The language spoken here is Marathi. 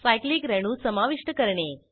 सायक्लिक रेणू समाविष्ट करणे